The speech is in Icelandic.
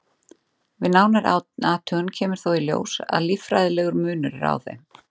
við nánari athugun kemur þó í ljós að líffærafræðilegur munur er á þeim